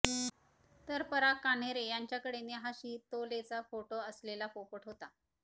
तर पराग कान्हेरे यांच्याकडे नेहा शितोलेचा फोटो असलेला पोपट होता